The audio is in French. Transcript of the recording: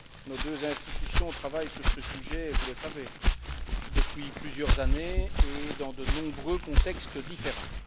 Nos deux institutions travaillent sur ce sujet, vous le savez, depuis plusieurs années et dans de nombreux contextes différents.